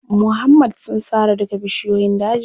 Muhammad sun sare duka bishiyoyin dajin.